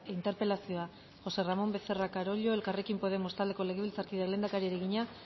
interpelazioa josé ramón becerra carollo elkarrekin podemos taldeko legebiltzarkideak lehendakariari egina